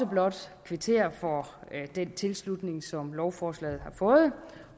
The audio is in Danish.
blot kvittere for den tilslutning som lovforslaget har fået